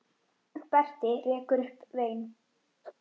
Berti rekur upp vein.